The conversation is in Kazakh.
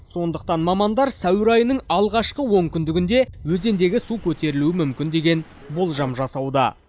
сондықтан мамандар сәуір айының алғашқы он күндігінде өзендегі су көтерілуі мүмкін деген болжам жасауда